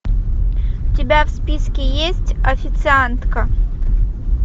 у тебя в списке есть официантка